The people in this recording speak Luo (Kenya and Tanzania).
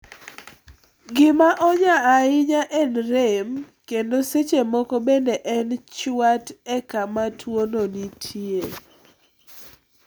Gima onya ahinya en rem, kendo seche moko bende en chwat e kama tuwono nitie.